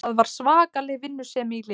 Það var svakaleg vinnusemi í liðinu